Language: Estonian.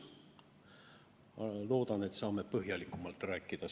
Loodan, et siis saame sellel teemal põhjalikumalt rääkida.